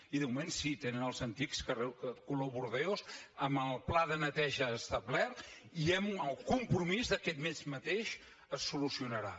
i de moment sí tenen els antics color bordeus amb el pla de neteja establert i amb el compromís que aquest mes mateix es solucionarà